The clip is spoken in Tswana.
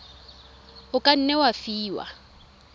o ka nne wa fiwa